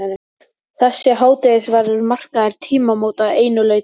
Þessi hádegisverður markar tímamót að einu leyti.